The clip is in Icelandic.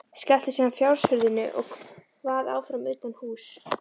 Skellti síðan fjóshurðinni og kvað áfram utanhúss.